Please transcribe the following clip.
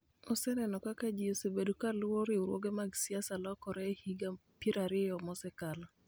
oseneno kaka ji osebedo ka luwo riwruoge mag siasa lokore e higa piero ariyo mosekalo.